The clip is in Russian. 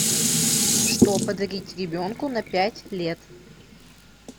что подарить ребенку на пять лет